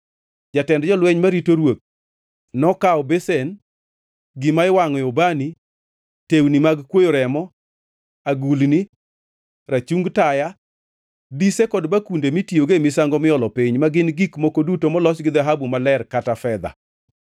Jatend jolweny marito ruoth nokawo besen, gima iwangʼoe ubani, tewni mag kwoyo remo, agulni, rachung taya, dise kod bakunde mitiyogo e misango miolo piny, ma gin gik moko duto molos gi dhahabu maler kata fedha.